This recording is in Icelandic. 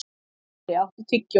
Geisli, áttu tyggjó?